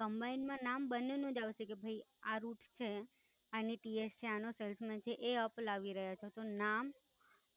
Combine માં નામ બંને નું જ આવશે કે ભાઈ આ જો આ route છે, આની TS છે, આનો salesman છે એ અપ લાવી રહ્યા છે તો નામ